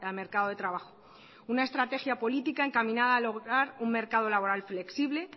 mercado de trabajo una estrategia política encaminada a lograr un mercado laboral flexible